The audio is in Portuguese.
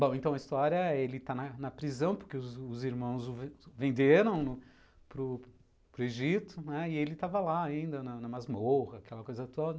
Bom, então, a história é que ele está na prisão, porque os irmãos o venderam para o Egito, e ele estava lá ainda, na masmorra, aquela coisa toda.